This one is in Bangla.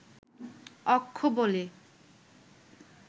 অক্ষ বলে